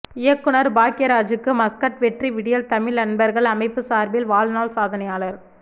இயக்குநர் பாக்யராஜுக்கு மஸ்கட் வெற்றி விடியல் தமிழ் அன்பர்கள் அமைப்பு சார்பில் வாழ்நாள் சாதனையாளர்